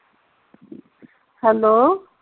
hello